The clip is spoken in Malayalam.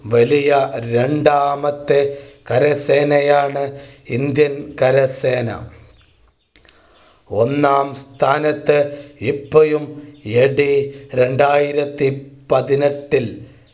വലിയ രണ്ടാമത്തെ കരസേനയാണ് Indian കരസേന. ഒന്നാം സ്ഥാനത്ത് ഇപ്പോഴും AD രണ്ടായിരത്തി പതിനെട്ടിൽ